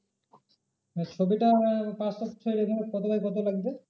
আর ছবিটা আমার passport size এখানে কত by কত লাগবে?